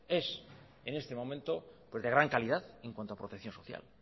es en este momento de gran calidad en cuanto a protección social